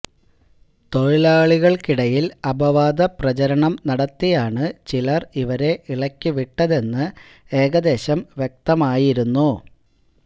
തൊഴിലാളികൾക്കിടയിൽ അപദാവ പ്രചാരണം നടത്തിയാണ് ചിലർ ഇവരെ ഇളക്കിവിട്ടതെന്ന് ഏകദേശം വ്യക്തമായിരുന്നു